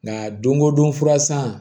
Nka don go don fura san